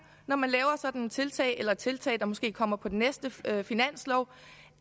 når man laver sådanne tiltag eller tiltag der måske kommer på den næste finanslov